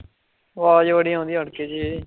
ਆਵਾਜ਼ ਬੜੀ ਆਉਂਦੀ